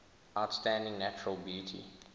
outstanding natural beauty